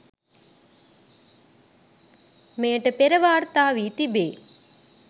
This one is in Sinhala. මෙයට පෙර වාර්තා වී තිබේ